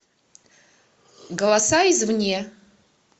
голоса из вне